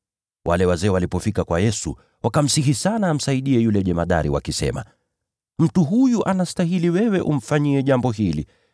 Wale wazee walipofika kwa Yesu, wakamsihi sana amsaidie yule jemadari wakisema, “Mtu huyu anastahili wewe umfanyie jambo hili,